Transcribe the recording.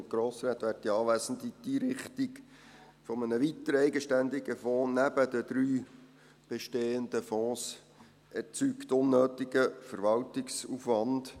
Die Einrichtung eines weiteren eigenständigen Fonds neben den drei bestehenden Fonds erzeugt unnötigen Verwaltungsaufwand.